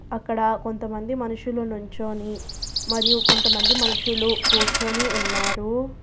అక్కడ కొంతమంది మనుషుల నుంచోని మరియు కొంతమంది మనుషులు కూర్చొని ఉన్నారు.